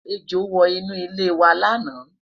ẹjọ wò inú ile iwa laana